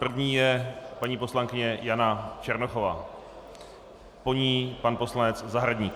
První je paní poslankyně Jana Černochová, po ní pan poslanec Zahradník.